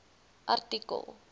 artikel